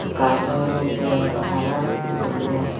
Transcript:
gajor bejer arow hi bejer.